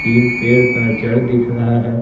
तीन पेड़ का जड़ दिख रहा है।